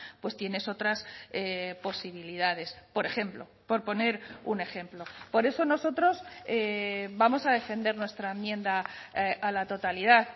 pues tienes otras posibilidades por ejemplo por poner un ejemplo por eso nosotros vamos a defender nuestra enmienda a la totalidad